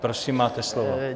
Prosím, máte slovo.